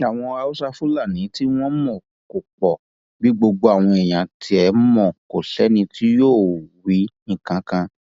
àwọn haúsá fúlani tí wọn mọ kò pọ bí gbogbo àwọn yẹn tiẹ mọ kò sẹni tí yóò wí nǹkan kan